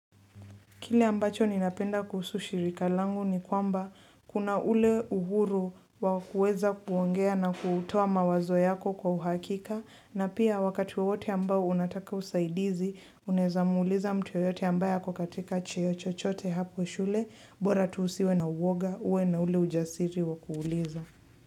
Kile ambacho ninapenda kuhusu shirika langu ni kwamba kuna ule uhuru wa kuweza kuongea na kutoa mawazo yako kwa uhakika. Na pia wakati wowote ambao unataka usaidizi, unaweza muuliza mtu yeyote ambaye ako katika cheo chochote hapo shule, bora tu usiwe na uwoga, uwe na ule ujasiri wa kuuliza.